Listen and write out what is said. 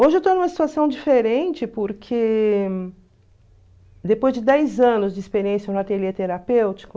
Hoje eu estou numa situação diferente porque, depois de dez anos de experiência no ateliê terapêutico,